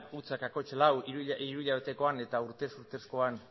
zero koma lau eta urtez urtezkoan